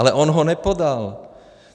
Ale on ho nepodal!